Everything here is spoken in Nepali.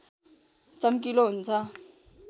चम्किलो हुन्छ